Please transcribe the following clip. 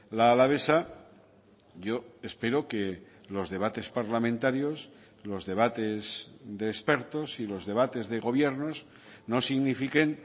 la alavesa yo espero que los debates parlamentarios los debates de expertos y los debates de gobiernos no signifiquen